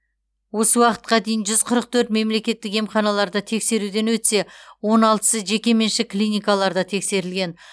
осы уақытқа дейін жүз ұырық төрт мемлекеттік емханаларда тексеруден өтсе он алтысы жекеменшік клиникаларда тексерілген